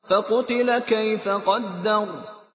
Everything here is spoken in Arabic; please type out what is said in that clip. فَقُتِلَ كَيْفَ قَدَّرَ